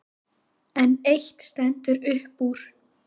En eitt stendur upp úr.